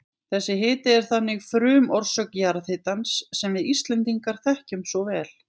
Þessi hiti er þannig frumorsök jarðhitans sem við Íslendingar þekkjum svo vel.